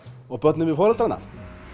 og börnin við foreldrana